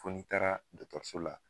Foni taara dɔkɔtɔrɔso la